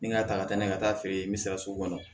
Ni n ka ta ka taa n'a ye ka taa feere n bɛ se ka sugu kɔnɔ